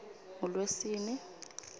ngulwesine